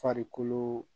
Farikolo